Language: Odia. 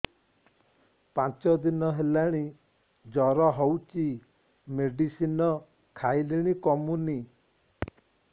ପାଞ୍ଚ ଦିନ ହେଲାଣି ଜର ହଉଚି ମେଡିସିନ ଖାଇଲିଣି କମୁନି